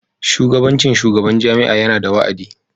Shugabancin shugaban jami'a yana da wa'adi.